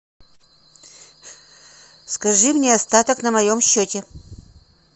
скажи мне остаток на моем счете